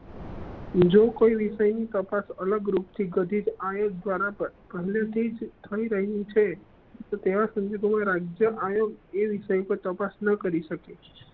જો કોઈ વિષય નું તપાસ અલગ રૂપ થી ગઠિત આયોગ્ય દ્વારા પર થઇ તો રહેવું છે તો તેઓ રાજ્ય આયોગ એ વિષય નો તપાસ ના કરી સકે